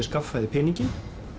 skaffaði peninginn